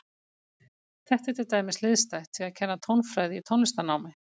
Þetta er til dæmis hliðstætt því að kenna tónfræði í tónlistarnámi.